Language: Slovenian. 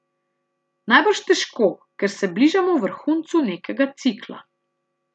Najbrž težko, ker se bližamo vrhuncu nekega cikla.